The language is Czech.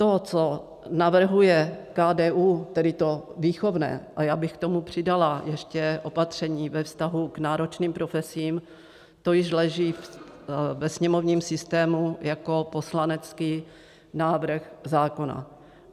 To, co navrhuje KDU, tedy to výchovné, a já bych k tomu přidala ještě opatření ve vztahu k náročným profesím, to již leží ve sněmovním systému jako poslanecký návrh zákona.